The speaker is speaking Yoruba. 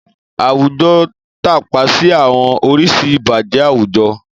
Àwùjọ tàpa sí àwọn oríṣi ìbàjẹ́ àwùjọ